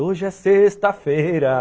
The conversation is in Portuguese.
Hoje é sexta-feira!